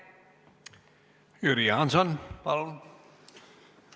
Jüri Jaanson, palun!